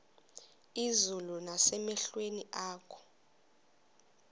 izulu nasemehlweni akho